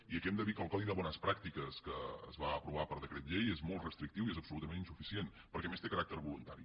i aquí hem de dir que el codi de bones pràctiques que es va aprovar per decret llei és molt restrictiu i és absolutament insuficient perquè a més té caràcter voluntari